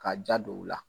Ka ja don u la